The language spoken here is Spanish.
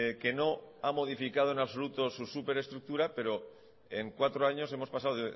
que no ha modificado en absoluto su superestructura pero en cuatro años hemos pasado